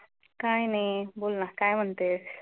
काय नाही, बोल ना काय म्हणतेस?